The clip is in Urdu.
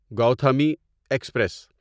گوتھمی ایکسپریس